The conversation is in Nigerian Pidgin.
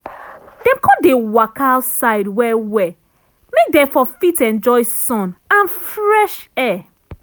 dem con dey waka outside well well make dem for fit enjoy sun and fresh air.